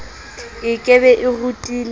e ke be e rutile